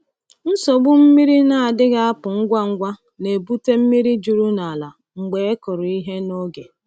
Nsogbu mmiri na-adịghị apụ ngwa ngwa na-ebute mmiri juru n’ala mgbe e kụrụ ihe n’oge.